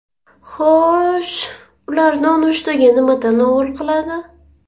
Xo‘sh, ular nonushtaga nima tanovul qiladi?